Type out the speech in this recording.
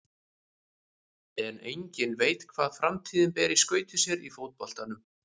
En enginn veit hvað framtíðin ber í skauti sér í fótboltanum.